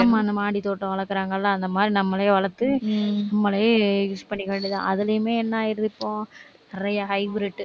ஆமா அந்த மாடித்தோட்டம் வளர்க்கிறாங்க இல்லை அந்த மாதிரி நம்மளே வளர்த்து உம் நம்மளே use பண்ணிக்க வேண்டியதுதான். அதிலேயுமே என்ன ஆயிடுது, இப்ப நிறைய hybrid